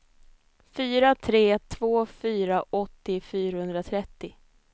fyra tre två fyra åttio fyrahundratrettio